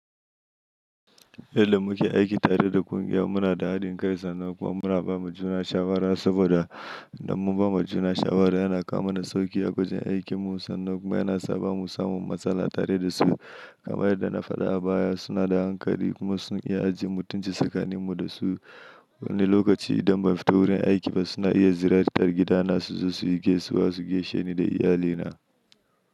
Yadda muke aiki tare da ƙungiya muna da haɗin kai sannan kuma muna ba ma juna shawara saboda idan mun ba ma juna shawara yana kawo mana sauƙi wajen aikinmu sannan kuma yana sa ba mu samu matsala tare da su. Kamar yadda na faɗa a baya suna da hankali kuma sun iya ajiye mutunci tsakaninmu da su. Wani lokaci idan ban fito wurin aiki ba suna iya ziyartar gidana su zo su yi gaisuwa su geshe ni da iyalina.